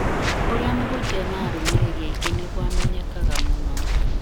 ũrĩa mũhunjia ena arũmĩrĩri aingĩ noguo amenyekanaga mũno